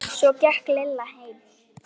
Svo gekk Lilla heim.